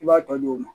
I b'a tɔ di o ma